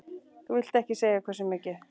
Þú vilt ekkert segja hversu mikið?